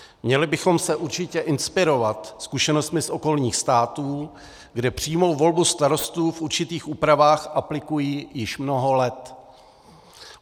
Měli bychom se určitě inspirovat zkušenostmi z okolních států, kde přímou volbu starostů v určitých úpravách aplikují již mnoho let.